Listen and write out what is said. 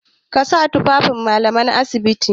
Ka sa tufafin Mallaman asibiti!